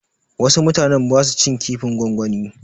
Wasu mutanen ba su cin kifin gongwani.